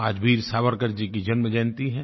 आज वीर सावरकर जी की जन्म जयन्ती है